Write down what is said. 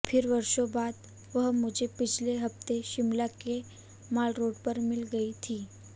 फिर वर्षों बाद वह मुझे पिछले हफ्ते शिमला के माल रोड पर मिल गयी थी